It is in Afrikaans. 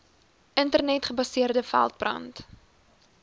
internet gebaseerde veldbrand